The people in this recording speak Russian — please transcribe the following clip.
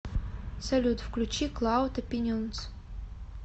салют включи клауд опинионс